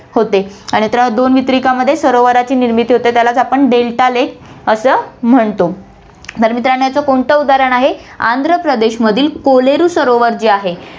होते आणि आता दोन वितरिकांमध्ये सरोवराची निर्मिती होते, त्यालाच आपण delta lake असं म्हणतो, तर मित्रांनो, याचं कोणतं उदाहरण आहे, आंध्रप्रदेशमधील कोलेरु सरोवर जे आहे